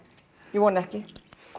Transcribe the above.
ég vona ekki